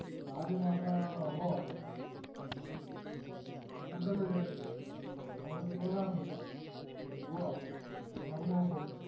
ராஜமாதா அவ குண்டல அவ சிவகாமி இவ மருமக பேரு